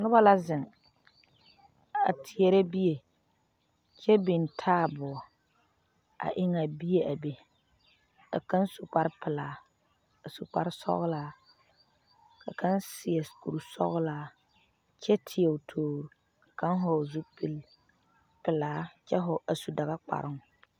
Noba la zeŋ a teɛrɛ bie kyɛ biŋ taaboɔa eŋe a bie a be ka kaŋ su kparre pelaa a su kpare sɔglaa ka kaŋ seɛ kur sɔglaa kyɛ teɛ o toor ka kaŋ vɔgeli zupili pelaa a su daga kparoo.